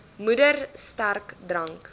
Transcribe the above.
moeder sterk drank